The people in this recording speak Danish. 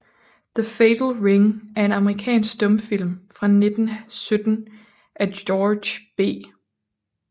The Fatal Ring er en amerikansk stumfilm fra 1917 af George B